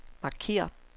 markér